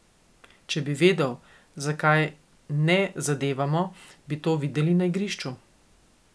Če bi vedel, zakaj ne zadevamo, bi to videli na igrišču.